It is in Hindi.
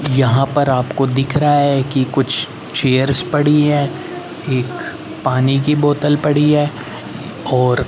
यहां पर आपको दिख रहा है कि कुछ चेयर्स पड़ी हैं एक पानी की बोतल पड़ी है और--